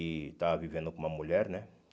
E estava vivendo com uma mulher, né?